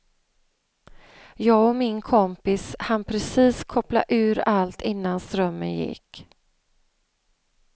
Jag och min kompis hann precis koppla ur allt innan strömmen gick.